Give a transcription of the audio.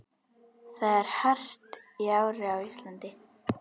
Það er hart í ári á Íslandi.